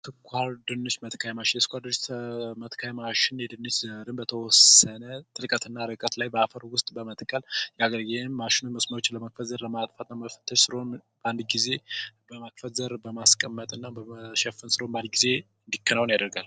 የስኳር ድንች መትከያ ማሽን የድንች ዘለላዎችን በተወሰነ ጥልቀትና ርቀት ላይ በአፈር ውስጥ በመትከል ነገር ይህን ማሸነፍ መቻል ነበር ማለት ነው። ስለሆነም በአንድ ጊዜ በማክበር በማስቀመጥ እና በእርሻ ሥራ ጊዜ እንዲከናወን ያደርጋል።